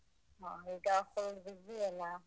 ಹ ಈಗ full busy ಅಲಾ?